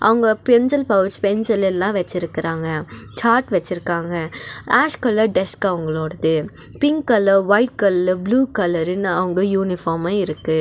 அவுங்க pencil pouch pencil எல்லா வச்சிருக்குறாங்க சார்ட் வச்சிருக்காங்க ஆஷ் கலர் டெஸ்க் அவங்களோடுது பிங்க் கலர் ஒயிட் கல்லு ப்ளூ கலருனு அவுங்க யூனிஃபார்மு இருக்கு.